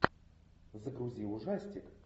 загрузи ужастик